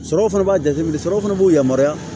Sɔrɔ fana b'a jateminɛ sɔrɔ fana b'u yamaruya